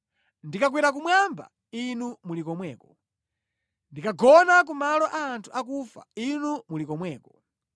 Ndikakwera kumwamba, Inu muli komweko; ndikakagona ku malo a anthu akufa, Inu muli komweko.